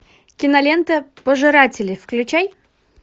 кинолента пожиратели включай